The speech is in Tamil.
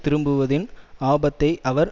திரும்புவதின் ஆபத்தை அவர்